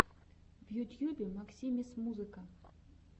в ютьюбе максимис музыка